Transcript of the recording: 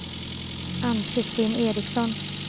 Ann-Kristin Ericsson